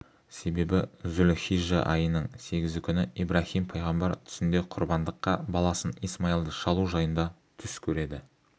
себебі зүл-хижжа айының сегізі күні ибраһим пайғамбар түсінде құрбандыққа баласын исмайылды шалу жайында түс көреді